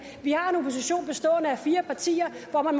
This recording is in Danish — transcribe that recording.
vi har en opposition bestående af fire partier